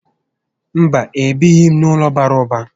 Mba, e bighi m n'ụlọ bàrà ụba